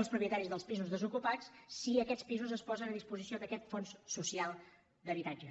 els propietaris dels pisos desocupats si aquests pisos es posen a disposició d’aquest fons social d’habitatge